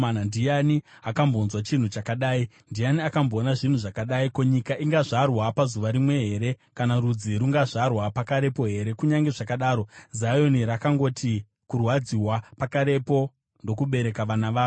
Ndiani akambonzwa chinhu chakadai? Ndiani akamboona zvinhu zvakadai? Ko, nyika ingazvarwa pazuva rimwe here kana rudzi rungazvarwa pakarepo here? Kunyange zvakadaro, Zioni rakangoti kurwadziwa, pakarepo ndokubereka vana varo.